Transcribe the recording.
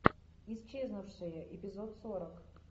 исчезнувшие эпизод сорок